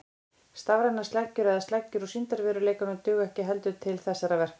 Stafrænar sleggjur eða sleggjur úr sýndarveruleikanum duga ekki heldur til þessara verka.